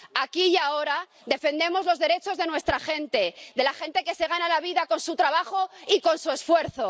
Aquí y ahora defendemos los derechos de nuestra gente, de la gente que se gana la vida con su trabajo y con su esfuerzo.